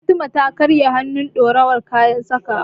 Fatima ta karya hannun durowar kayan sakawa.